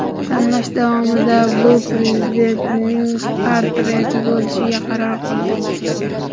Tanlash davomida bu prezidentning portreti bo‘lishiga qaror qildik.